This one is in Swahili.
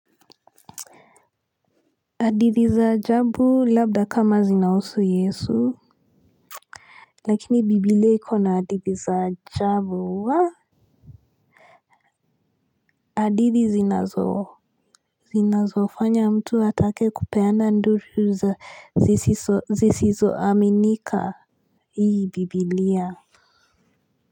Hadithi za ajabu labda kama zinahusu yesu. Lakini bibilia ikona hadithi za ajabu wa hadithi zinazo zinazofanya mtu atake kupeana nduru zisizoaminika. Hii bibilia.